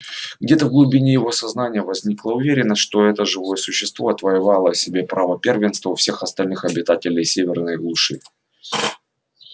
где-то в глубине его сознания возникла уверенность что это живое существо отвоевало себе право первенства у всех остальных обитателей северной глуши